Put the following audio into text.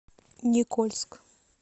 никольск